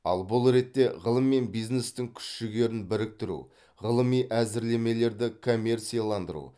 ал бұл ретте ғылым мен бизнестің күш жігерін біріктіру ғылыми әзірлемелерді коммерцияландыру